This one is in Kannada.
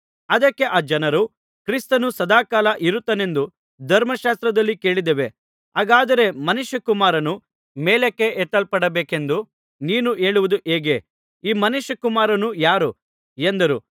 ಅದಕ್ಕೆ ಆ ಜನರು ಕ್ರಿಸ್ತನು ಸದಾಕಾಲ ಇರುತ್ತಾನೆಂದು ಧರ್ಮಶಾಸ್ತ್ರದಲ್ಲಿ ಕೇಳಿದ್ದೇವೆ ಹಾಗಾದರೆ ಮನುಷ್ಯಕುಮಾರನು ಮೇಲಕ್ಕೆ ಎತ್ತಲ್ಪಡಬೇಕೆಂದು ನೀನು ಹೇಳುವುದು ಹೇಗೆ ಈ ಮನುಷ್ಯಕುಮಾರನು ಯಾರು ಎಂದರು